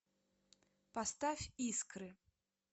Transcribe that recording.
поставь искры